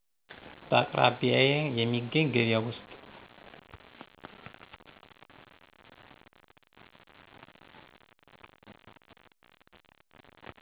በአቅራቢያዬ የሚገኝ ገበያ ውስጥ